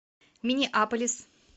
миннеаполис